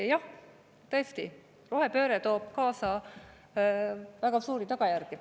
Jah, tõesti, rohepööre toob kaasa väga raskeid tagajärgi.